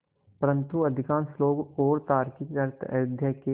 परन्तु अधिकांश लोग और तार्किक अर्थ अयोध्या के